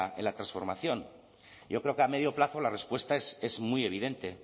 en la transformación y yo creo que a medio plazo la respuesta es muy evidente